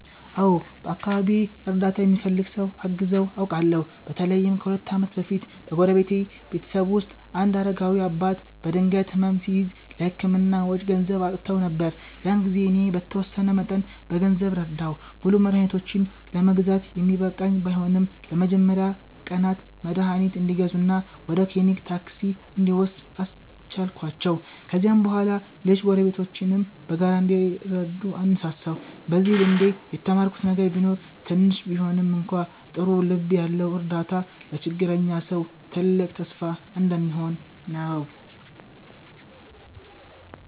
አዎ፣ በአካባቢዬ እርዳታ የሚፈልግ ሰው አግዘው አውቃለሁ። በተለይም ከሁለት ዓመት በፊት በጎረቤቴ ቤተሰብ ውስጥ አንድ አረጋዊ አባት በድንገት ሕመም ሲያዝ፣ ለሕክምና ወጪ ገንዘብ አጥተው ነበር። ያን ጊዜ እኔ በተወሰነ መጠን በገንዘብ ረዳሁ። ሙሉ መድኃኒታቸውን ለመግዛት የሚበቃ ባይሆንም፣ ለመጀመሪያ ቀናት መድኃኒት እንዲገዙ እና ወደ ክሊኒክ ታክሲ እንዲወስዱ አስቻልኳቸው። ከዚያም በኋላ ሌሎች ጎረቤቶችም በጋራ እንዲረዱ አነሳሳሁ። በዚህ ልምዴ የተማርኩት ነገር ቢኖር ትንሽ ቢሆንም እንኳ ጥሩ ልብ ያለው እርዳታ ለችግረኛ ሰው ትልቅ ተስፋ እንደሚሆን ነው።